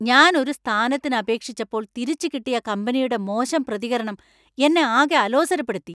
ഞാൻ ഒരു സ്ഥാനത്തിന് അപേക്ഷിച്ചപ്പോൾ, തിരിച്ചു കിട്ടിയ കമ്പനിയുടെ മോശം പ്രതികരണം എന്നെ ആകെ അലോസരപ്പെടുത്തി.